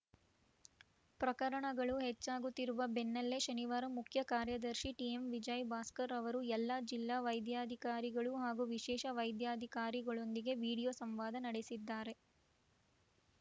ಪ್ರಕರಣಗಳು ಹೆಚ್ಚಾಗುತ್ತಿರುವ ಬೆನ್ನಲ್ಲೇ ಶನಿವಾರ ಮುಖ್ಯ ಕಾರ್ಯದರ್ಶಿ ಟಿಎಂ ವಿಜಯಭಾಸ್ಕರ್‌ ಅವರು ಎಲ್ಲಾ ಜಿಲ್ಲಾ ವೈದ್ಯಾಧಿಕಾರಿಗಳು ಹಾಗೂ ವಿಶೇಷ ವೈದ್ಯಾಧಿಕಾರಿಗಳೊಂದಿಗೆ ವಿಡಿಯೋ ಸಂವಾದ ನಡೆಸಿದ್ದಾರೆ